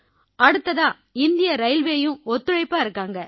அடுத்ததா இந்திய ரயில்வேயும் ஒத்துழைப்பா இருக்காங்க சார்